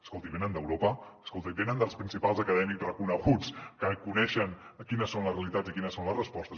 escolti venen d’europa i venen dels principals acadèmics reconeguts que coneixen quines són les realitats i quines són les respostes